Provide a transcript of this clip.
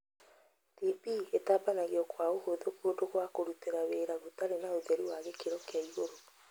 TB ĩtambagio kwa ũhũthũ kũndũ gwa kũrutĩra wĩra gũtarĩ na ũtheru wa gĩkĩro kia igũrũ.